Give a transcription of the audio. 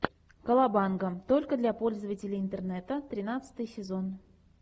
колобанга только для пользователей интернета тринадцатый сезон